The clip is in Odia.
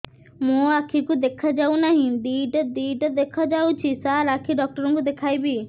ମୋ ଆଖିକୁ ଦେଖା ଯାଉ ନାହିଁ ଦିଇଟା ଦିଇଟା ଦେଖା ଯାଉଛି ସାର୍ ଆଖି ଡକ୍ଟର କୁ ଦେଖାଇବି